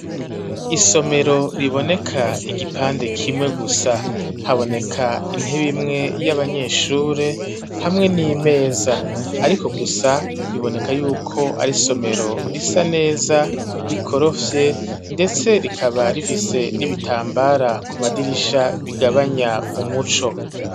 Isomero riboneka igipande kimwe gusa haboneka intebe imwe y'abanyeshuri hamwe n'imeza ariko gusa biboneka yuko ari somero risa neza rikorofye ndetse rikaba rifise n'ibitambara ku madirisha bigabanya umuco.